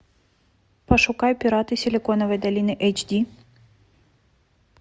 пошукай пираты силиконовой долины эйч ди